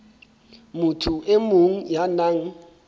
motho e mong ya nang